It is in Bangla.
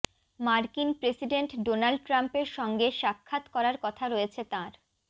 মার্কিন প্রেসিডেন্ট ডোনাল্ড ট্রাম্পের সঙ্গে সাক্ষাৎ করার কথা রয়েছে তাঁর